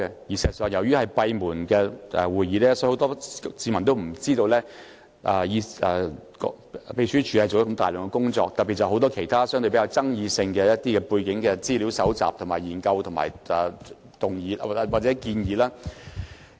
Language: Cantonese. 事實上，由於委員會的會議是閉門進行的，所以很多市民都不知道，秘書處做了大量工作，特別是就很多相對比較具爭議性的議題進行背景資料搜集、研究及提出建議。